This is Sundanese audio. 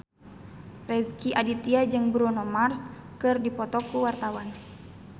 Rezky Aditya jeung Bruno Mars keur dipoto ku wartawan